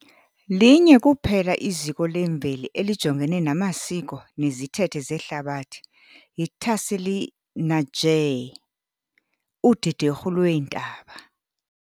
Linye kuphela iziko lemveli elijongene namasiko nezithethe zeHlabathi yi-Tassili n'Ajjer, udederhu lweentaba.